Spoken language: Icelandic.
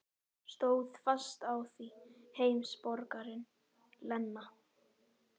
Stóð fast á því, heimsborgarinn Lena.